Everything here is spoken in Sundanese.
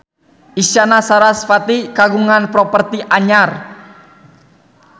Isyana Sarasvati kagungan properti anyar